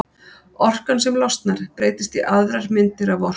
orkan sem losnar breytist í aðrar myndir af orku